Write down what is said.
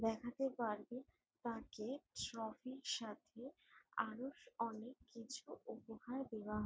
দেখাতে পারবে তাকে ট্রফি -র সাথে আরও অনেক কিছু উপহার দেওয়া --